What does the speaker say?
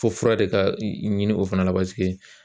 Fo fura de ka ɲini o fana la